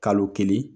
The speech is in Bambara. Kalo kelen